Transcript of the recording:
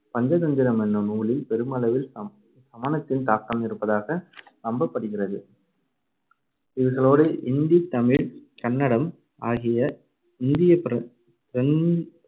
பஞ்சதந்திரம் எனும் நூலில் பெருமளவில் சம~ சமணத்தின் தாக்கம் இருப்பதாக நம்பப்படுகிறது. இவைகளோடு இந்தி, தமிழ், கன்னடம் ஆகிய இந்திய பிர~ பிரந்த்~